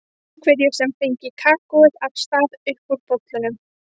Einhverju sem fengi kakóið af stað upp úr bollunum.